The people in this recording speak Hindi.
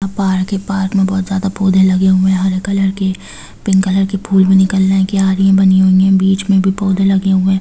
बाहर के पार्क में बहुत ज्यादा पौधे लगे हुए है हरे कलर के पिंक कलर के फूल भी निकल रहे है क्यारी बनी हुई है बीच में पौधे लगे हुए --